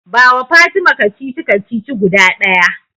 Bawa Fatima kacici-kacici guda ɗaya.